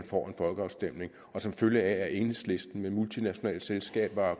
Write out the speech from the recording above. får en folkeafstemning og som følge af at enhedslisten med multinationale selskaber